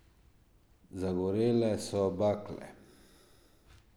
Zagorele so bakle.